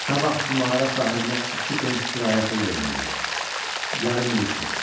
"Sabah bu mağara sahibinə iki pens kirayə pulu verməliyik, yarım il üçün.